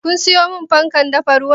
Kun siyo fankar dafa ruwan?